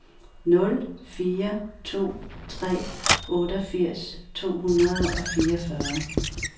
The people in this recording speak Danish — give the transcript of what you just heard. nul fire to tre otteogfirs to hundrede og fireogfyrre